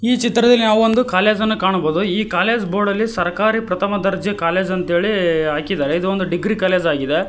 ಈ ಚಿತ್ರದಲ್ಲಿ ನಾವು ಒಂದು ಕಾಲೇಜ್ ಅನ್ನು ಕಾಣಬಹುದು ಈ ಕಾಲೇಜ್ ಬೋರ್ಡ್ ಅಲ್ಲಿ ಸರ್ಕಾರಿ ಪ್ರಥಮ ದರ್ಜೆ ಕಾಲೇಜ್ ಅಂತ ಹೇಳಿ ಹಾಕಿದರೆ ಇದೊಂದು ಡಿಗ್ರಿ ಕಾಲೇಜ್ ಆಗಿದೆ.